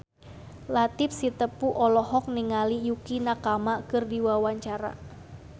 Latief Sitepu olohok ningali Yukie Nakama keur diwawancara